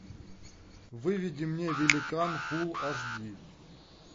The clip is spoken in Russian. выведи мне великан фул аш ди